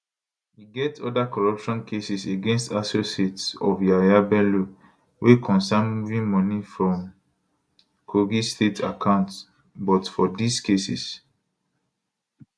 e get oda corruption cases against associates of yahaya bello wey concern moving money from kogi state accounts but for dis cases